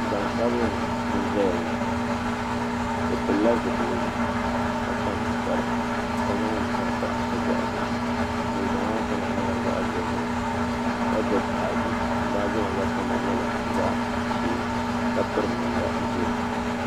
Gbansabinli n ʒɛya ŋo o pilila zipiligu ka kpa ninkpara ka zaŋ liiga pa o boɣu zuɣu liiga maa kama nyɛla zaɣ dozim ka gbubi baaji baaji maa gba kama nyɛla zaɣ ʒiɛ ka piri namda ʒiɛ